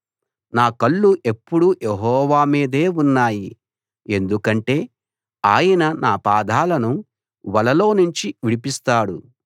నా కళ్ళు ఎప్పుడూ యెహోవా మీదే ఉన్నాయి ఎందుకంటే ఆయన నా పాదాలను వలలోనుంచి విడిపిస్తాడు